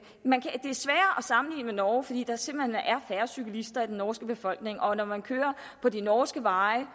sammenligne med norge fordi der simpelt hen er færre cyklister i den norske befolkning og når man kører på de norske veje